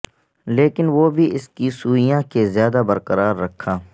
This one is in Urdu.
لیکن وہ بھی اس کی سوئیاں کے زیادہ برقرار رکھا